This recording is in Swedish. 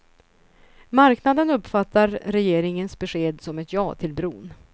Marknaden uppfattar regeringens besked som ett ja till bron.